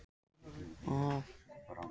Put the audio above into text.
Bókin með TeX forritinu.